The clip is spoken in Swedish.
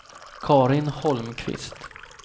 Carin Holmqvist